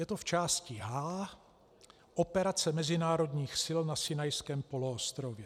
Je to v části H - Operace mezinárodních sil na Sinajském poloostrově.